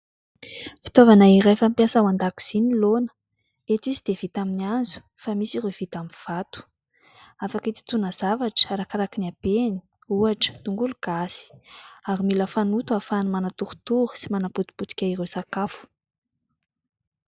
Fitaovana iray fampiasa ao an-dakozia ny laona. Eto izy dia vita amin'ny hazo fa misy ireo vita amin'ny vato. Afaka hitotoana zavatra arakaraka ny habeny, ohatra tongolo gasy ary mila fanoto ahafahany manatorotoro sy manapotipotika ireo sakafo.